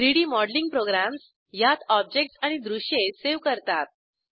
3डी modelling programs यात objects आणि दृश्ये सावे करतात